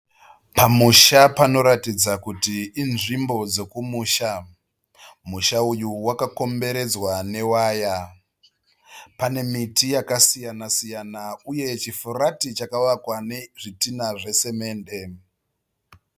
Pamusha, pano ratidza kuti invzimbo dzekumusha. Musha uyu wakakomberedzwa newaya. Pane miti yaka siyana siyana ,uye chifurati chakavakwa nezvitinha zvesimende.